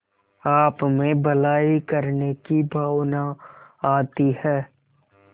आपमें भलाई करने की भावना आती है